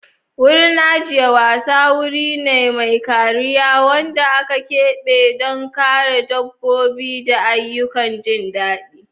Wurin ajiyar wasa wuri ne mai kariya wanda aka keɓe don kare dabbobi da ayyukan jin daɗi.